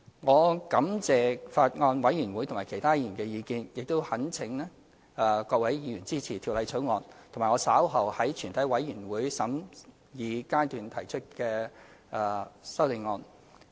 我感謝法案委員會和其他議員的意見，並懇請各位議員支持《條例草案》，以及我稍後在全體委員會審議階段提出的修正案。